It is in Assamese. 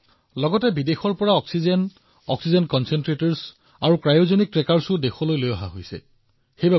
এফালে বায়ু সেনাৰ বিমানেৰে অক্সিজেন প্ৰকল্পলৈ খালী টেংকাৰ পৰিবহণৰ কামো হৈ আছে আনহাতে নতুন অক্সিজেন প্ৰকল্প নিৰ্মাণৰ কামো সম্পূৰ্ণ কৰা হৈছে